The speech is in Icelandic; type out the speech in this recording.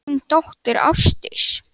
Þín dóttir, Ásdís.